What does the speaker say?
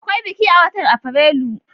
Akwai biki a watan Afrilu?